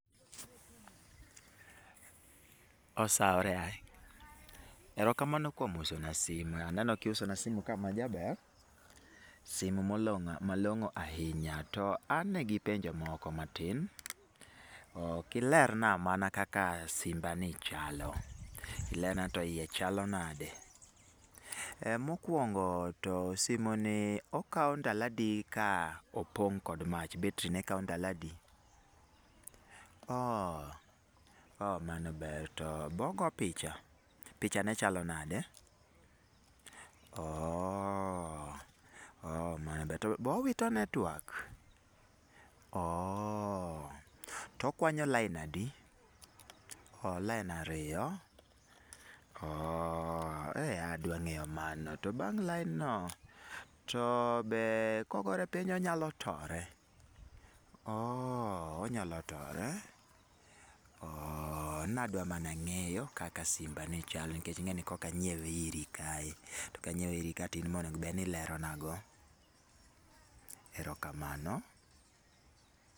"Osaore. Ero kamano kuom uso na simu. Aneno kiuso na simu ka ma jaber. Simu molong'o malong'o ahinya. To ane gi penjo moko matin. Ok ilerna mana kaka simba ni chalo. Ilerna ni to iye chalo nade. Eh mokuongo, to simu ni okao ndalo adi ka opong' kod mach, battery ne kao ndalo adi? Oooh, ooh mano ber. To be ogo picha? Picha ne chalo nade? Ooooh, ooh mano ber. To be owito network? Oooooh. To okwanyo lain adi? Oooh lain ariyo? Oooooh, eeh adwa ng'eyo mano. To bang' lain no, to be kogore piny onyalo tore? Oooh, onyalo tore? Ooooh, nadwa mana ng'eyo kaka simba ni chalo. Nikech ing'eni koka anyiewe iri kae. To kanyiewe iri ka to in ma onego bed ni ilero na go. Erokamano."